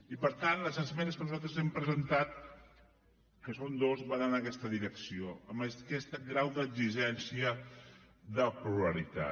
i per tant les esmenes que nosaltres hem presentat que són dues van en aquesta direcció amb aquest grau d’exigència de pluralitat